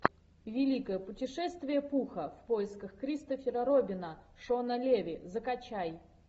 великое путешествие пуха в поисках кристофера робина шона леви закачай